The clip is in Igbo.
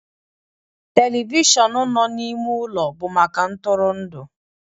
telivishọn na n'ime ụlọ bụ maka ntụrụndụ